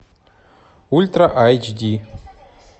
ультра айч ди